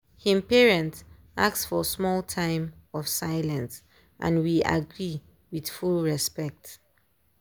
him parents ask for small time of silence and we agree with full respect.